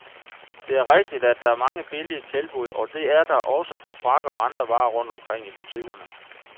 Det er rigtigt, at der er mange billige tilbud, og det er der også på frakker og andre varer rundt omkring i butikkerne.